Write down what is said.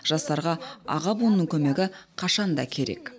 жастарға аға буынның көмегі қашан да керек